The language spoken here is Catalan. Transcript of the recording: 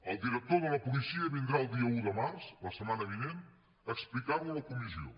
el director de la policia vindrà el dia un de març la setmana vinent a explicar ho a la comissió